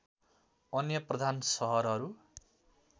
अन्य प्रधान सहरहरू